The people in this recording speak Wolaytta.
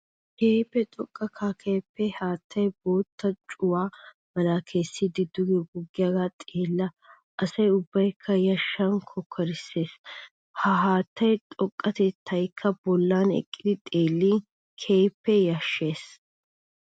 Keehippe xoqqa kakkappe haattay bootta cuwaa mala kessiddi duge goggiyage xeella asaa ubbakka yashan kokkorssigeesi. Ha haatta xoqqatettaykka bollan eqqiddi xeelin keehippe yashshees.